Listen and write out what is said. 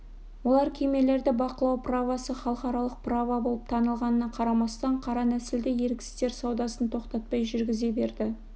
олар кемелерді бақылау правосы халықаралық право болып танылғанына қарамастан қара нәсілді еріксіздер саудасын тоқтатпай жүргізе берді